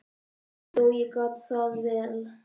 Og þó, ég gat það vel.